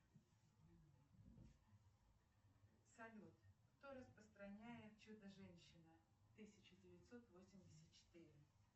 салют кто распространяет чудо женщина тысяча девятьсот восемьдесят четыре